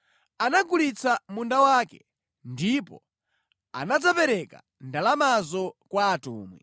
anagulitsa munda wake ndipo anadzapereka ndalamazo kwa atumwi.